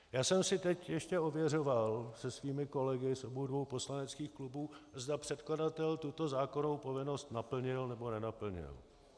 Já jsem si teď ještě ověřoval se svými kolegy z obou dvou poslaneckých klubů, zda předkladatel tuto zákonnou povinnost naplnil, nebo nenaplnil.